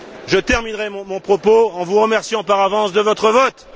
Je terminerai mon propos en vous remerciant par avance de votre vote!